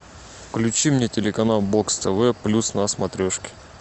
включи мне телеканал бокс тв плюс на смотрешке